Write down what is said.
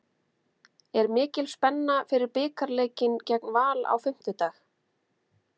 Er mikil spenna fyrir bikarleikinn gegn Val á fimmtudag?